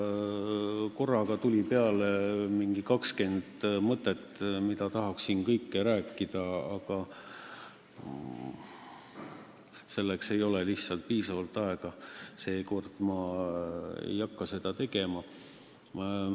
Mulle tuli pähe mingi 20 mõtet, millest kõigest tahaks rääkida, aga selleks ei ole lihtsalt piisavalt aega, nii et seekord ei hakka ma seda tegema.